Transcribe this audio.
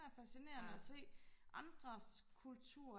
det er fascinerende og se andres kultur